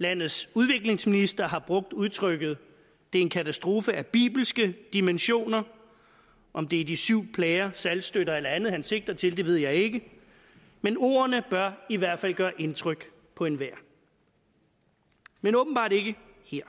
landets udviklingsminister har brugt udtrykket det er en katastrofe af bibelske dimensioner om det er de syv plager saltstøtter eller andet han sigter til ved jeg ikke men ordene bør i hvert fald gøre indtryk på enhver men åbenbart ikke her